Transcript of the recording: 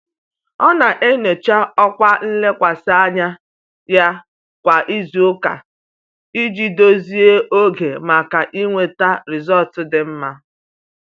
Ọ na-enyocha ọkwa nlekwasị anya ya kwa izuụka iji dozie oge maka inweta rịzọlt dị mma.